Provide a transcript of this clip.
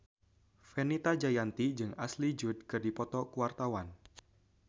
Fenita Jayanti jeung Ashley Judd keur dipoto ku wartawan